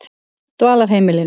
Dvalarheimilinu